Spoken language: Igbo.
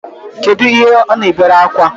Kedụ ihe ọ na-ebere akwa?